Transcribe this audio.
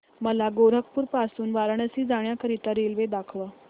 मला गोरखपुर पासून वाराणसी जाण्या करीता रेल्वे दाखवा